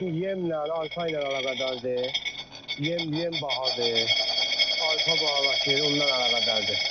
Otla, yemlə, arpa ilə əlaqədardır, yem bahadır, arpa bahalaşır, ondan əlaqədardır.